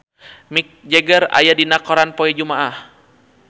Mick Jagger aya dina koran poe Jumaah